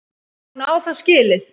Hún á það skilið.